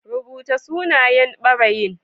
Rubuta sunayen ɓarayin